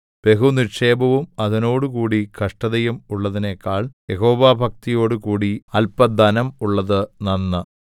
ബഹു നിക്ഷേപവും അതിനോടുകൂടി കഷ്ടതയും ഉള്ളതിനെക്കാൾ യഹോവാഭക്തിയോടുകൂടി അല്പധനം ഉള്ളത് നന്ന്